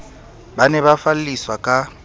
ba ne ba falliswa ka